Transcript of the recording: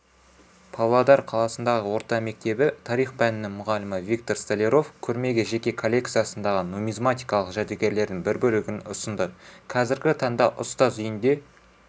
павлодар қаласындағы орта мектебі тарих пәнінің мұғалімі виктор столяров көрмеге жеке коллекциясындағы нумизматикалық жәдігерлердің бір бөлігін ұсынды қазіргі таңда ұстаз үйінде